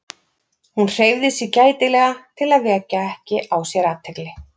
Hún hreyfði sig gætilega til að vekja ekki á sér athygli.